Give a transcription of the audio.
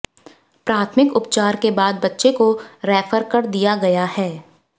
प्राथमिक उपचार के बाद बच्चे को रेफर कर दिया गया है